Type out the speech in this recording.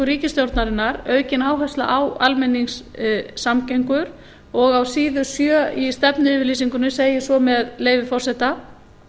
ríkisstjórnarinnar er aukin áhersla á almenningssamgöngur og á síðu sjö í stefnuyfirlýsingunni segir svo með leyfi forseta